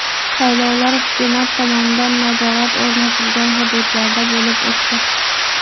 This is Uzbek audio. Saylovlar hukumat tomonidan nazorat o‘rnatilgan hududlarda bo‘lib o‘tdi.